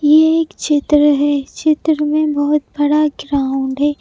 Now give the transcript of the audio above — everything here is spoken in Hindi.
ये एक चित्र है चित्र में बहुत बड़ा ग्राउंड है।